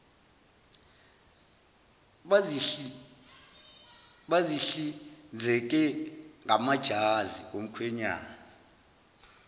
bazihlinzeke ngamajazi omkhwenyana